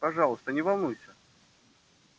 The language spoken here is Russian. пожалуйста не волнуйся